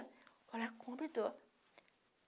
Vou lá, compro e dou.